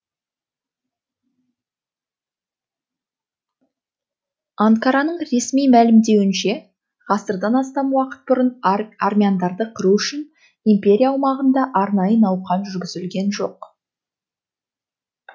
анкараның ресми мәлімдеуінше ғасырдан астам уақыт бұрын армяндарды қыру үшін империя аумағында арнайы науқан жүргізілген жоқ